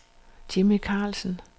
Jimmy Karlsen